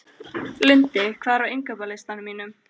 Lundi, hvað er á innkaupalistanum mínum?